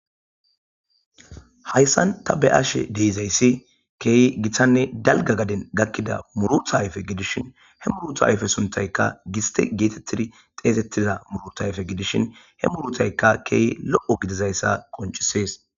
hayssan ta be'ashe deizayssi keyi giththanne dalga gaden gakkida murutaayfe gidishin he muruta ayfe suntayka gisti geetettidi xeesettiza murotayfe gidishin he murutayka keey lo7o gidizayssa qoncisees